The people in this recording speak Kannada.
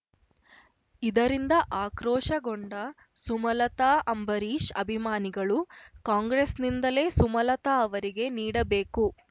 ಇದರಿಂದ ಆಕ್ರೋಶಗೊಂಡ ಸುಮಲತಾ ಅಂಬರೀಷ್ ಅಭಿಮಾನಿಗಳು ಕಾಂಗ್ರೆಸ್‌ನಿಂದಲೇ ಸುಮಲತಾ ಅವರಿಗೆ ನೀಡಬೇಕು